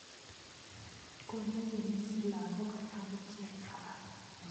Kolewenis lagok akichek